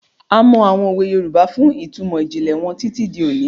A mọ àwọn òwe Yorùbá fún ìtumọ̀ ìjìnlẹ̀ wọn títí di òní.